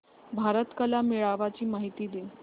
भारत कला मेळावा ची माहिती दे